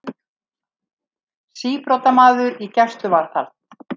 Síbrotamaður í gæsluvarðhald